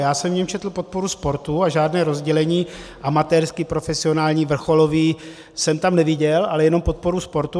Já jsem v něm četl podporu sportu a žádné rozdělení amatérský, profesionální, vrcholový jsem tam neviděl, ale jenom podporu sportu.